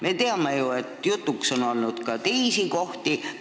Me teame, et jutuks on olnud ka teisi kohti.